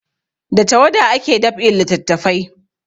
Da tawada ake dab'in littafai